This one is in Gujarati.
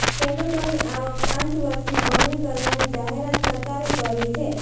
ખેડૂતોની આવક પાંચ વર્ષમાં બમણી કરવાની જાહેરાત સરકારે કરી છે